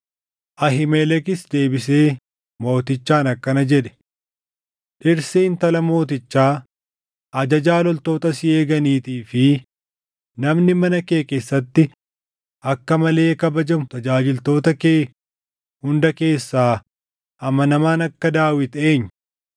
Ahiimelekis deebisee mootichaan akkana jedhe; “Dhirsi intala mootichaa, ajajaa loltoota si eeganiitii fi namni mana kee keessatti akka malee kabajamu tajaajiltoota kee hunda keessaa amanamaan akka Daawit eenyu?